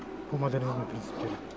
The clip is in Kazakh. бұл модернизмнің принциптері